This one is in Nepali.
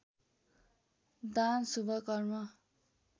दान शुभ कर्म